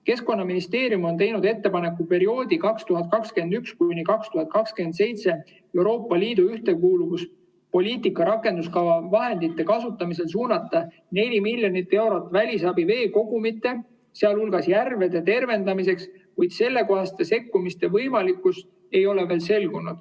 Keskkonnaministeerium on teinud ettepaneku perioodi 2021–2027 Euroopa Liidu ühtekuuluvuspoliitika rakenduskava vahendite kasutamisel suunata 4 miljonit eurot välisabi veekogumite, sealhulgas järvede tervendamiseks, kuid sellekohaste sekkumiste võimalikkus ei ole veel selgunud.